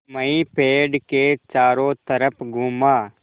मैं पेड़ के चारों तरफ़ घूमा